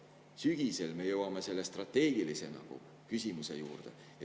Edaspidi, sügisel me jõuame selle strateegilise küsimuse juurde.